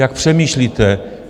Jak přemýšlíte?